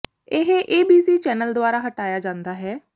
ਇਹ A B C channel ਦੁਆਰਾ ਹਟਾਇਆ ਜਾਂਦਾ ਹੈ